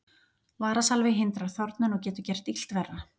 Varasalvi hindrar þornun og getur gert illt verra.